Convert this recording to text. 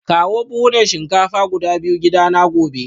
Kawo buhunan shinkafa guda biyu gidana gobe